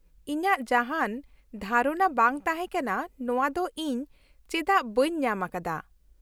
- ᱤᱧᱟᱜ ᱡᱟᱦᱟᱸᱱ ᱫᱷᱟᱨᱚᱱᱟ ᱵᱟᱝ ᱛᱟᱦᱮᱸ ᱠᱟᱱᱟ ᱱᱚᱣᱟ ᱫᱚ ᱤᱧ ᱪᱮᱫᱟᱜ ᱵᱟᱹᱧ ᱧᱟᱢ ᱟᱠᱟᱫᱟ ᱾